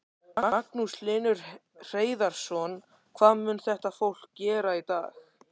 Magnús Hlynur Hreiðarsson: Hvað mun þetta fólk gera í dag?